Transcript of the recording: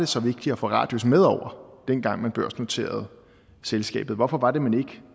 så vigtigt at få radius med over dengang man børsnoterede selskabet hvorfor